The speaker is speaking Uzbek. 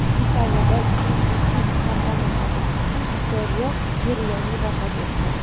Italiyada Indesit kompaniyasi asoschisi Vittorio Merloni vafot etdi.